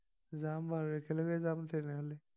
যাম বাৰু একেলগে যাম তেনেহলে